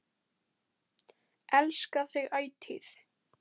Elska þig ætíð.